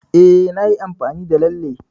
E, nayi amfani da Lalle.